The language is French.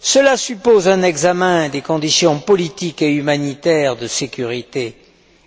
Cela suppose un examen des conditions politiques et humanitaires de sécurité